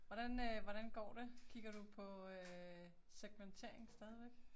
Hvordan æh hvordan går det, kigger du på øh segmentering stadigvæk?